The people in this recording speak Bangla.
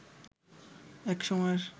এক সময়ের